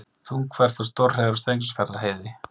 Þungfært og stórhríð er á Steingrímsfjarðarheiði